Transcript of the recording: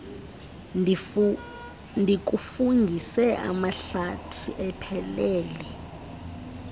ndikufungise amahlathi ephelele